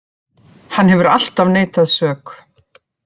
Hann hefur alltaf neitað sök